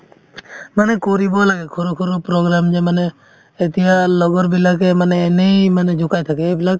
মানে কৰিব লাগে সৰু সৰু program যে মানে এতিয়া লগৰ বিলাকে মানে এনেই মানে জোকাই থাকে এইবিলাক